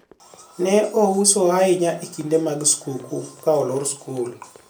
en ouso ahinya e kinde mag skuukuu ka olor sikul